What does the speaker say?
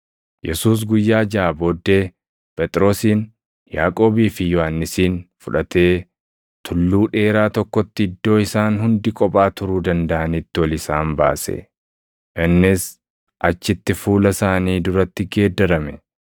Yesuus guyyaa jaʼa booddee Phexrosin, Yaaqoobii fi Yohannisin fudhatee tulluu dheeraa + 9:2 Akka hubannaa Yihuudootaatti tulluun ol dheeraan iddoo mijaaʼaa itti Waaqni namatti of mulʼisuu dha. tokkotti iddoo isaan hundi kophaa turuu dandaʼanitti ol isaan baase. Innis achitti fuula isaanii duratti geeddarame.